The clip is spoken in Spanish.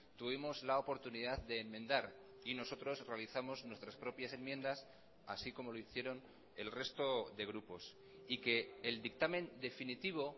tuvimos la oportunidad de enmendar y nosotros realizamos nuestras propias enmiendas así como lo hicieron el resto de grupos y que el dictamen definitivo